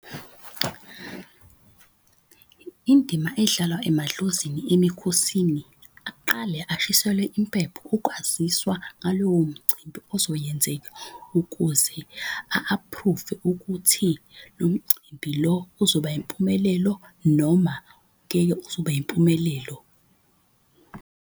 Indima edlalwa emadlozini emikhosini aqale ashiselwe impepho ukwaziswa ngalowo mcimbi ozoyenzeka ukuze a-approve-e ukuthi lo mcimbi lo uzoba impumelelo, noma ngeke uzube impumelelo.